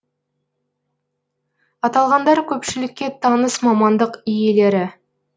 аталғандар көпшілікке таныс мамандық иелері